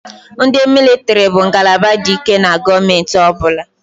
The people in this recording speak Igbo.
Ndị mịlịtịrị bụ ngalaba dị ike na gọọmentị ọ bụla.